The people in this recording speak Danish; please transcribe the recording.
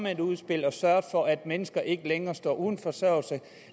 med et udspil og har sørget for at mennesker ikke længere står uden forsørgelse